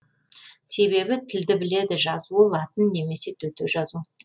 себебі тілді біледі жазуы латын немесе төте жазу